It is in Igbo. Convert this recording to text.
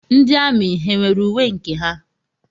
Ndị amị ha nwere uwe nke ha?